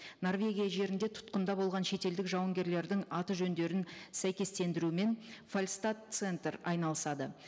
норвегия жерінде тұтқында болған шетелдік жауынгерлердің аты жөндерін сәйкестендіруімен фальстад центр айналысады